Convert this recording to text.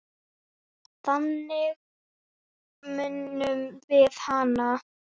Þannig munum við hana.